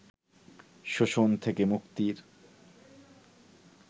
শোষণ থেকে মুক্তির